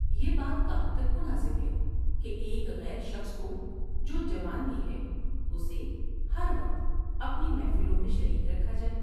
یہ بات کہاں تک مناسب ہے کہ ایک غیر شخص کو جو جوان بھی ہے اسے ہر وقت اپنی محفلوں میں شریک رکھا جائے ۔